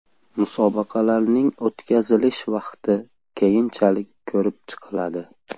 Musobaqalarning o‘tkazilish vaqti keyinchalik ko‘rib chiqiladi.